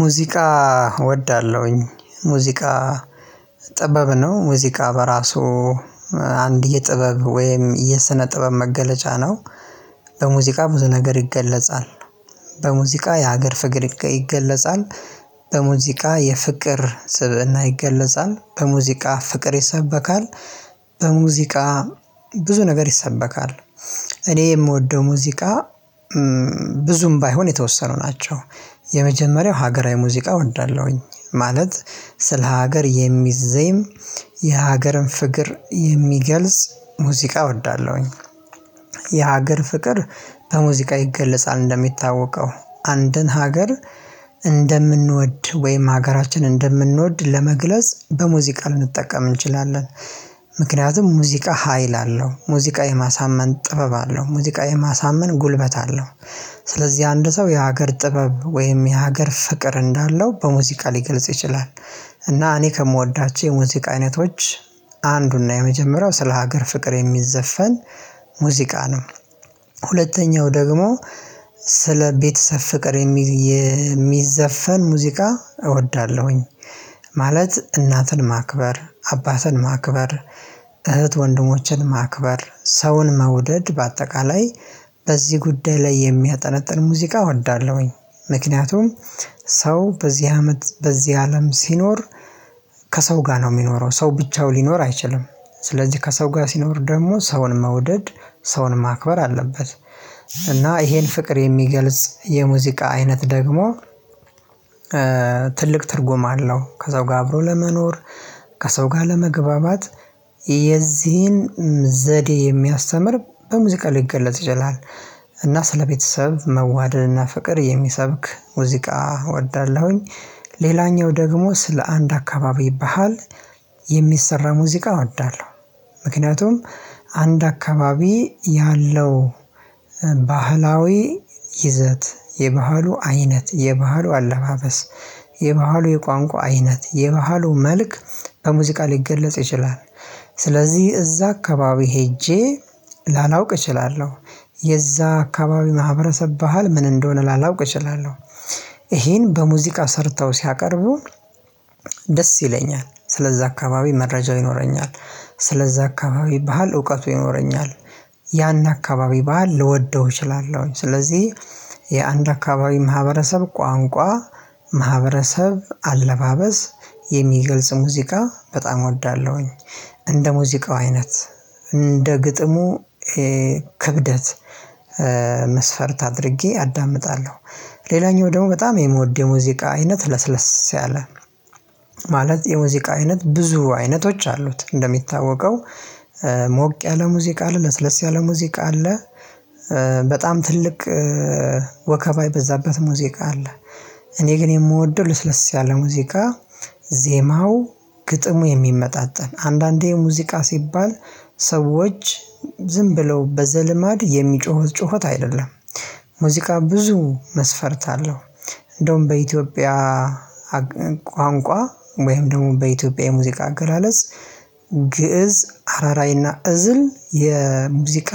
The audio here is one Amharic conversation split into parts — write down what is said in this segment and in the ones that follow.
ሙዚቃ እወዳለሁኝ ሙዚቃ ጥበብ ነው ሙዚቃ በራሱ አንድ የጥበብ ወይም የስነ ጥበብ መገለጫ ነው። በሙዚቃ ብዙ ነገር ይገለጻል። በሙዚቃ የሀገር ፍቅር ይገለጻል። በሙዚቃ የፍቅር ስብዕና ይገለጻል በሙዚቃ ፍቅር ይሰበካል። በሙዚቃ ብዙ ነገር ይሰበካል። እኔ የምወደው ሙዚቃ ብዙም ባይሆን የተወሰኑ ናቸው። የመጀመሪያው ሀገራዊ ሙዚቃ እወዳለሁኝ ማለት ስለ ሀገር የሚዘየም የሀገርን ፍቅር የሚገልጽ ሙዚቃ እወዳለሁኝ። የሀገር ፍቅር በሙዚቃ ይገለጻል እንደሚታወቀው አንድን ሀገር እንደምንወድ ወይም ሀገራችን እንደምንወድ ለመግለጽ በሙዚቃ ልንጠቀም እንችላለን። ምክንያቱም ሙዚቃ ሀይል አለው ሙዚቃ የማሳመን ጥበብ አለው ሙዚቃ የማሳመን ጉልበት አለው። ስለዚህ አንድ ሰው የሀገር ጥበብ ወይም የሀገር ፍቅር እንዳለው በሙዚቃ ሊገልጽ ይችላል። እና እኔ ከምወዳቸው የሙዚቃ አይነቶች አንዱና የመጀመሪያው ስለ ሀገር ፍቅር የሚዘፈን ሙዚቃ ነው። ሁለተኛው ደግሞ ስለ ቤተሰብ ፍቅር የሚዘፈን ሙዚቃ እወዳለሁኝ። ማለት እናትን ማክበር አባትን ማክበር እህት ወንድሞችን ማክበር ሰውን መውደድ በአጠቃላይ በዚህ ጉዳይ ላይ የሚያጠነጥን ሙዚቃ እወዳለሁኝ። ምክንያቱም ሰው በዚህ አመት በዚህ አለም ሲኖር ከሰው ጋር ነው የሚኖረው ሰው ብቻው ሊኖር አይችልም። ስለዚህ ከሰው ጋር ሲኖር ደግሞ ሰውን መውደድ ሰውን ማክበር አለበት። እና ይሄን ፍቅር የሚገልጽ የሙዚቃ አይነት ደግሞ ትልቅ ትርጉም አለው። ከሰው ጋር አብሮ ለመኖር ከሰው ጋር ለመግባባት የዚህን ዘዴ የሚያስተምር በሙዚቃ ሊገለጽ ይችላል። እና ስለቤተሰብ መዋደድና ፍቅር የሚሰብክ ሙዚቃ እወዳለሁኝ። ሌላኛው ደግሞ ስለ አንድ አካባቢ ባህል የሚሰራ ሙዚቃ እወዳለሁ። አንድ አካባቢ ያለው ባህላዊ ይዘት የባህሉ አይነት የባህሉ አለባበስ የባህሉ የቋንቋ አይነት የባህሉ መልክ በሙዚቃ ሊገለጽ ይችላል። ስለዚህ እዛ አካባቢ ሄጄ ላላውቅ እችላለሁ የዛ አካባቢ ማህበረሰብ ባህል ምን እንደሆነ ላላውቅ እችላለሁ። ይሄን በሙዚቃ ሰርተው ሲያቀርቡ ደስ ይለኛል ስለዛ አካባቢ መረጃው ይኖረኛል። ስለዛ አካባቢ ባህል እውቀቱ ይኖረኛል። ያን አካባቢ ባህል ልወደው እችላለሁኝ ስለዚህ የአንድ አካባቢ ማህበረሰብ ቋንቋ ማህበረሰብ አለባበስ የሚገልጽ ሙዚቃ በጣም እወዳለሁኝ። እንደ ሙዚቃው አይነት እንደ ግጥሙ ክብደት መስፈርት አድርጌ አዳምጣለሁ። ሌላኛው ደግሞ በጣም የምወደው ሙዚቃ አይነት ለስለስ ያለ ማለት የሙዚቃ አይነት ብዙ አይነቶች አሉት። እንደሚታወቀው ሞቅ ያለ ሙዚቃ አለ ለስለስ ያለ ሙዚቃ አለ። በጣም ትልቅ ወከባ የበዛበት ሙዚቃ አለ። እኔ ግን የምወደው ለስለስ ያለ ሙዚቃ ዜማው ግጥሙ የሚመጣጠን አንዳንዴ ሙዚቃ ሲባል ሰዎች ዝም ብለው በዘልማድ የሚጮኸው ጩኸት አይደለም። ሙዚቃ ብዙ መስፈርት አለው። እንደውም በኢትዮጵያ ቋንቋ ወይም ደግሞ በኢትዮጵያ የሙዚቃ አገላለጽ ግእዝ አራራይና እዝል የሙዚቃ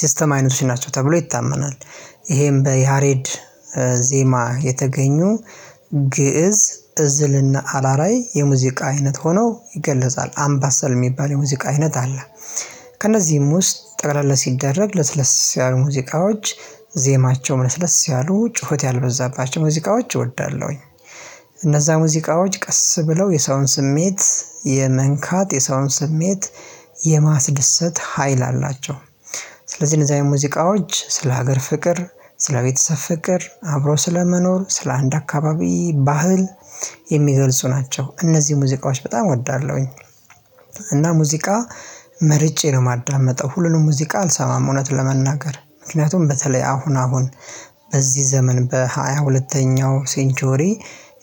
ሲስተም አይነቶች ናቸው ተብሎ ይታመናል። ይሄም በያሬድ ዜማ የተገኙ ግእዝ እዝልና አላራይ የሙዚቃ አይነት ሆነው ይገለጻል አምባሰል የሚባል የሙዚቃ አይነት አለ። ከእነዚህም ውስጥ ጠቅለለ ሲደረግ ለስለስ ያሉ ሙዚቃዎች ዜማቸውም ለስለስ ያሉ ጩኸት ያልበዛባቸው ሙዚቃዎች እወዳለሁኝ። እነዛ ሙዚቃዎች ቀስ ብለው የሰውን ስሜት የመንካት የሰውን ስሜት የማስደሰት ሀይል አላቸው። ስለዚህ እነዚህ አይነት የሙዚቃዎች ስለ ሀገር ፍቅር ስለ ቤተሰብ ፍቅር አብሮ ስለመኖር ስለ አንድ አካባቢ ባህል የሚገልጹ ናቸው እነዚህ ሙዚቃዎች በጣም እወዳለሁኝ። እና ሙዚቃ መርጬ ነው የማዳመጠው ሁሉንም ሙዚቃ አልሰማም። እውነት ለመናገር ምክንያቱም በተለይ አሁን አሁን በዚህ ዘመን በሃያ ሁለተኛው ሴንቼሪ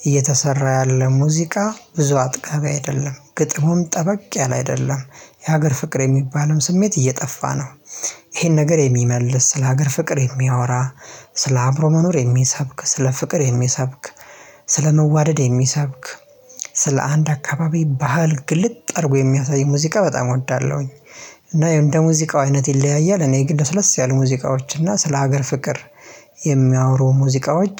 እየተሰራ ያለ ሙዚቃ ብዙ አጥቃቢ አይደለም ግጥሙም ጠበቅ ያለ አይደለም። የሀገር ፍቅር የሚባልም ስሜት እየጠፋ ነው። ይሄን ነገር የሚመልስ ስለ ሀገር ፍቅር የሚያወራ ስለ አብሮ መኖር የሚሰብክ ስለ ፍቅር የሚሰብክ ስለ መዋደድ የሚሰብክ ስለ አንድ አካባቢ ባህል ግልጥ አረጎ የሚያሳይ ሙዚቃ በጣም እወዳለሁኝ። እና እንደ ሙዚቃው አይነት ይለያያል እኔ ግን ስለስ ያሉ ሙዚቃዎች እና ስለ ሀገር ፍቅር የሚያወሩ ሙዚቃዎች